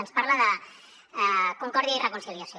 ens parla de concòrdia i reconciliació